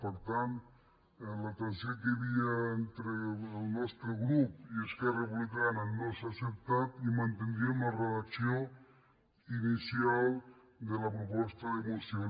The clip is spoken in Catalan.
per tant la transacció que hi havia entre el nostre grup i esquerra republicana no s’ha acceptat i mantindríem la redacció inicial de la proposta de moció